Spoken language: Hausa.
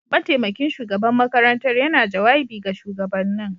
Mataimakin shugaban makarantar yana jawabi ga shugabannin.